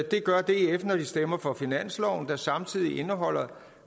det gør df når de stemmer for finansloven der samtidig indeholder